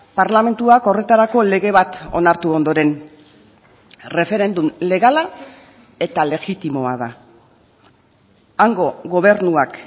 parlamentuak horretarako lege bat onartu ondoren erreferendum legala eta legitimoa da hango gobernuak